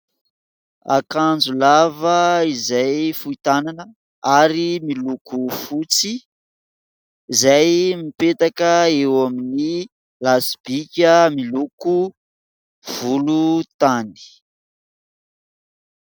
Akanjo lava izay fohy tanana ary miloko fotsy izay mipetaka eo amin'ny lasi-bika miloko volontany.